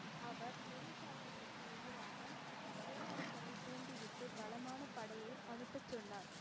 அவர் குரு சாஹிப்புக்கு எதிராகப் பேரரசரை தூண்டிவிட்டு பலமான படையை அனுப்பச் சொன்னார்.